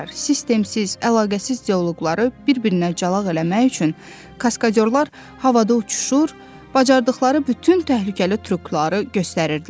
Sistemsiz, əlaqəsiz dialoqları bir-birinə calaq eləmək üçün kaskadyorlar havada uçuşur, bacardıqları bütün təhlükəli trükları göstərirdilər.